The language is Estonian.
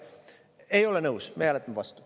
Ei ole nõus, meie hääletame vastu.